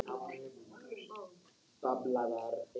Það hnussaði í Ragnari.